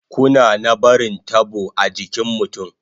Kuna na barin tabo a jikin mutun